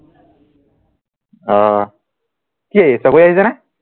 অ কি চকৰি আহিছেনে